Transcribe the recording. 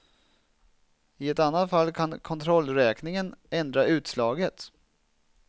I annat fall kan kontrollräkningen ändra utslaget.